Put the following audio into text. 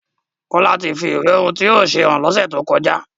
Kola tí fí ìwé ohùn tí yóò ṣe hàn l'onse to kọjá